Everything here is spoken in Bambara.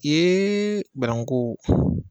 Ee banankuko